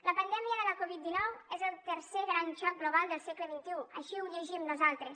la pandèmia de la covid dinou és el tercer gran xoc global del segle xxi així ho llegim nosaltres